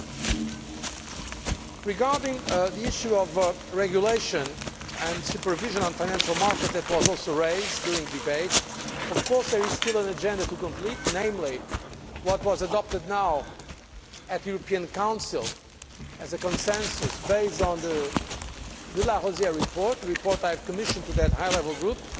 Concerning the issue of the regulation and supervision of the financial market, which was also raised during the debate, of course there is still an agenda to complete, namely what was adopted at the European Council as a consensus based on the de Larosière report a report I commissioned from that high level group